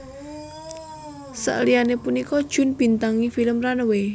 Sakliyane punika Jun bintangi film Runaway